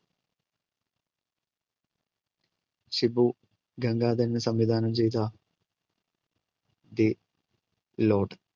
ഷിബു ഗംഗാധരൻ സംവിധാനം ചെയ്ത ലോർഡ്.